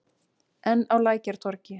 Enn á Lækjartorgi.